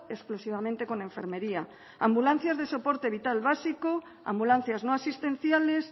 exclusivamente con enfermería ambulancias de soporte vital básico ambulancias no asistenciales